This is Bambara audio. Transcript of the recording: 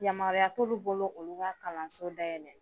Yamaruya t'olu bolo olu ka kalanso dayɛlɛ.